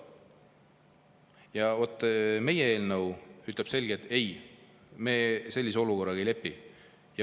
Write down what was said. Ja vaat meie eelnõu ütleb selgelt, et me sellise olukorraga ei lepi.